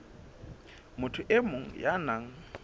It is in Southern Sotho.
motho e mong ya nang